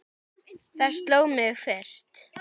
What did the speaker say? Það sló mig fyrst.